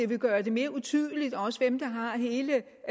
vil gøre det mere utydeligt hvem der har hele